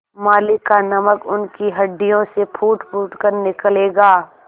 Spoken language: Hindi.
मालिक का नमक उनकी हड्डियों से फूटफूट कर निकलेगा